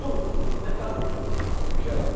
Tudo, tudo, mercadoria de em geral.